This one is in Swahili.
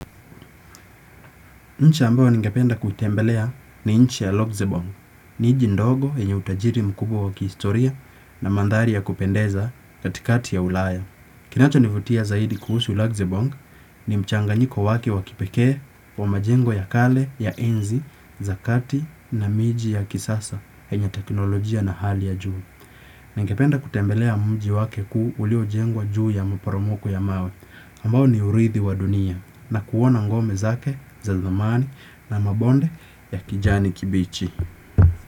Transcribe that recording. Nchi ambayo ningependa kutembelea ni nchi ya Luxembourg. Ninchindogo yenye utajiri mkubwa wa kihistoria na mandhari ya kupendeza katikati ya ulaya. Kinacho nivutia zaidi kuhusu Luxembourg ni mchanganyiko wake wakipekee wa majengo ya kale ya enzi zakati na miji ya kisasa yenye teknolojia na hali ya juu. Ningependa kutembelea mji wake kuu uliyo jengwa juu ya maporomoko ya mawe, ambao ni urithi wa dunia, na kuona ngome zake, zazamani, na mabonde ya kijani kibichi.